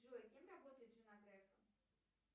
джой кем работает жена грефа